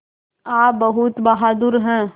आप बहुत बहादुर हैं